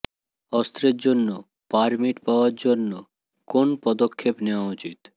অস্ত্রের জন্য পারমিট পাওয়ার জন্য কোন পদক্ষেপ নেওয়া উচিত